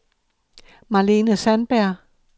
Marlene Sandberg